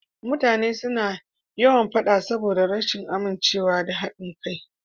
Mutane suna yawan faɗa saboda rashin amincewa da haɗin kai.